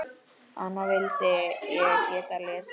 Hana vildi ég geta lesið.